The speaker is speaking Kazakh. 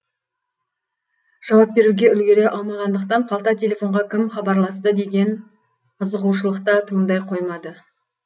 жауап беруге үлгере алмағандықтан қалта телефонға кім хабарласты деген қызығушылық та туындай қоймады